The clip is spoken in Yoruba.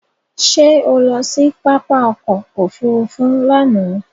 Ṣé o lọ sí pápá ọkọ òfúrúúfú lánàá?